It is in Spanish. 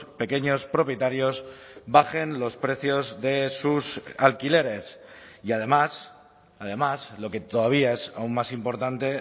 pequeños propietarios bajen los precios de sus alquileres y además además lo que todavía es aun más importante